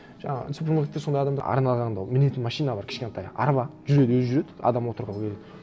жаңағы супермаркетте сондай адамдар арналған ол мінетін машина бар кішкентай арба жүреді өзі жүреді адам отырып